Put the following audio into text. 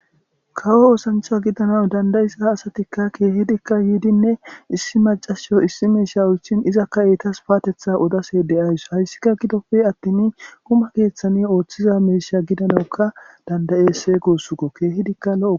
kawo oosancha gidana dandayiza asatikka keehidikka yiidinne issi macasho issi meesha oychin izakka eetas paatetha odase de'ays hayssika gidofe attimi guma keeththani ooththiza meesha gidanaukka dandayese goossukko keehidikka lo'okko